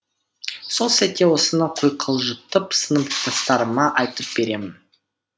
сол сәтте осыны құйқылжытып сыныптастарыма айтып беремін